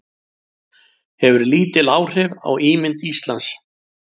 Hefur lítil áhrif á ímynd Íslands